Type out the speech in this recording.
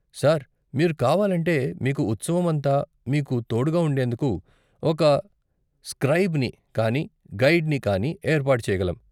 Sir, మీరు కావాలంటే, మీకు ఉత్సవం అంతా మీకు తోడుగా ఉండేందుకు ఒక స్క్రైబ్ని కానీ గైడ్ని కానీ ఏర్పాటు చేయగలం.